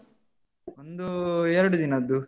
ನಮ್ದು ಎರಡು ದಿನದ್ದು.